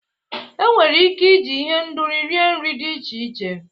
Enwere ike iji ihendori rie nri dị iche iche.